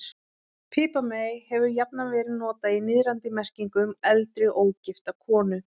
Piparmey hefur jafnan verið notað í niðrandi merkingu um eldri, ógifta konu.